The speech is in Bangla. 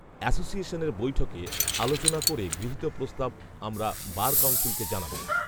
অ্যাসোসিয়েশনের বৈঠকে আলোচনা করে গৃহীত প্রস্তাব আমরা বার কাউন্সিলকে জানাবো